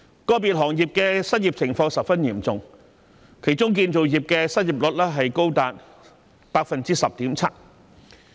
個別行業的失業情況十分嚴重，當中建造業的失業率便高達 10.7%。